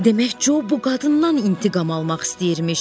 Demək, Co bu qadından intiqam almaq istəyirmiş.